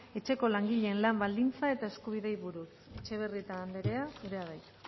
etxeko langileen lan baldintza eta eskubideei buruz etxeberrieta andrea zurea da hitza